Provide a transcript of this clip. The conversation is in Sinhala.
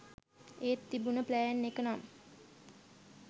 ඒත් තිබුණ ප්ලෑන් එක නම්